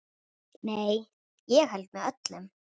Nei, ég held með öllum.